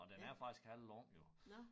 Og den er faktisk halvlang jo